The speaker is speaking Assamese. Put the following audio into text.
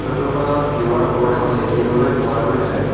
ফটো খনত কিউ_আৰ ক'ড এখন দেখিবলৈ পোৱা গৈছে।